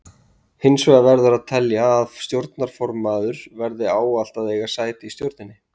Hins vegar verður að telja að stjórnarformaður verði ávallt að eiga sæti í stjórninni.